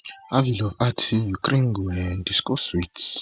harvylov add say ukraine go um discuss wit